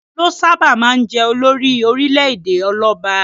Ọba ló sábà máa jẹ olórí orílẹ̀-èdè ọlọ́ba.